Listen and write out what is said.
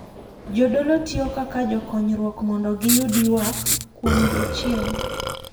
Jodolo tiyo kaka jokonyruok mondo giyud ywak kuom jochiende.